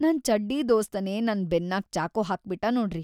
ನನ್‌ ಚಡ್ಡೀ ದೋಸ್ತನೇ ನನ್‌ ಬೆನ್ನಾಗ್ ಚಾಕು ಹಾಕ್ಬಿಟ್ಟ ನೋಡ್ರಿ.